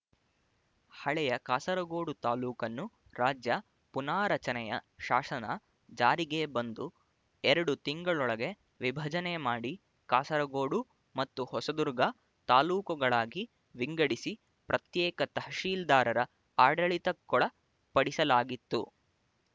ಹಳೆಯ ಕಾಸರಗೋಡು ತಾಲ್ಲೂಕನ್ನು ರಾಜ್ಯ ಪುನಾರಚನೆಯ ಶಾಸನ ಜಾರಿಗೆ ಬಂದು ಎರಡು ತಿಂಗಳೊಳಗೆ ವಿಭಜನೆ ಮಾಡಿ ಕಾಸರಗೋಡು ಮತ್ತು ಹೊಸದುರ್ಗ ತಾಲ್ಲೂಕುಗಳಾಗಿ ವಿಂಗಡಿಸಿ ಪ್ರತ್ಯೇಕ ತಹಶೀಲ್ದಾರರ ಆಡಳಿತಕ್ಕೊಳ ಪಡಿಸಲಾಗಿತ್ತು